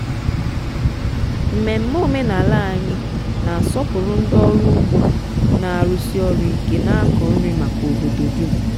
mmemme omenala anyị na-asọpụrụ ndị ọrụ ugbo na-arụsi ọrụ ike na-akọ nri maka obodo dum.